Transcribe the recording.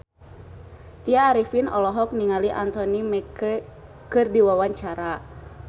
Tya Arifin olohok ningali Anthony Mackie keur diwawancara